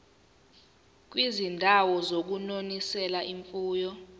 kwizindawo zokunonisela imfuyo